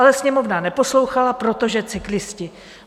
Ale Sněmovna neposlouchala, protože cyklisté.